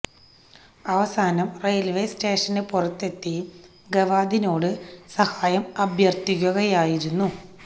അവസാനം railway station പുറത്ത് എത്തി ഗവാദിനോട് സഹായം അഭ്യര്ത്ഥിക്കുകയായിരുന്നു